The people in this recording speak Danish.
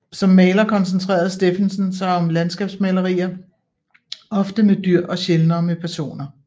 Som maler koncentrerede Steffensen sig om landskabsmalerier ofte med dyr og sjældnere med personer